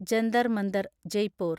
Jantar Mantar (Jaipur)